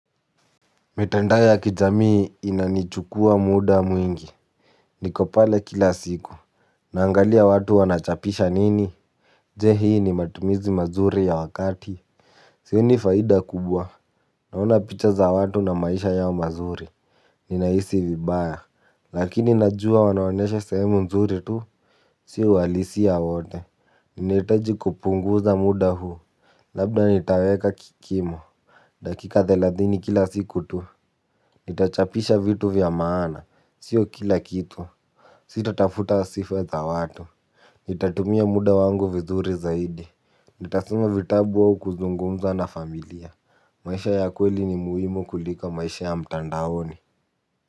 Mitandao ya kijamii inanichukua muda mwingi. Niko pale kila siku. Naangalia watu wanachapisha nini. Je, hii ni matumizi mazuri ya wakati? Sioni faida kubwa. Naona picha za watu na maisha yao mazuri. Ninahisi vibaya. Lakini najua wanaonyesha sehemu nzuri tu. Sio uhalisia wote. Ninahitaji kupunguza muda huu. Labda nitaweka kikimo. Dakika thelathini kila siku tu. Nitachapisha vitu vya maana, sio kila kitu. Sitatafuta sifa za watu. Nitatumia muda wangu vizuri zaidi. Nitasoma vitabu au kuzungumza na familia. Maisha ya kweli ni muhimu kuliko maisha ya mtandaoni.